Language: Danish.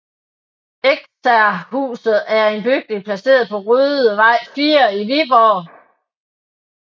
Eksercerhuset er en bygning placeret på Rødevej 4 i Viborg